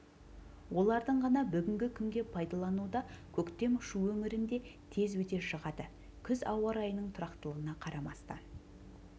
олардың ғана бүгінгі күнге пайдалылуда көктем шу өңірінде тез өте шығады күз ауа райының тұрақтылығына қарамастан